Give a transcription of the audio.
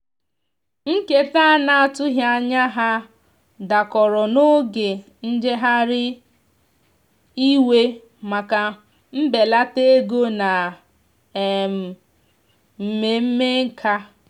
nketa ana atughi anya ha dakọrọ n'oge njeghari iwe maka mbelata ego na um mmeme nkà.